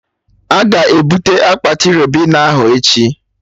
Aga ebute akpati Ribena ahụ echi?